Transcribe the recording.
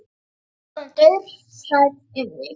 Ég var orðin dauðhrædd um þig,